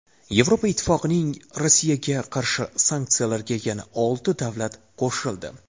Yevropa Ittifoqining Rossiyaga qarshi sanksiyalariga yana olti davlat qo‘shildi.